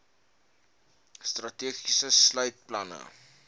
strategie sluit planne